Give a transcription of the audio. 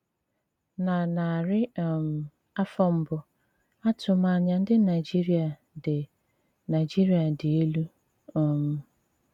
Na narị um afọ mbù, àtụ́mànyà ndị Naijíríà dì Naijíríà dì èlú um.